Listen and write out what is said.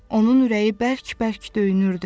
Onun ürəyi bərk-bərk döyünürdü.